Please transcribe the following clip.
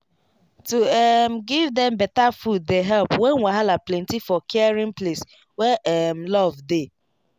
to um give dem better food dey help when wahala plenty for caring place wey um love dey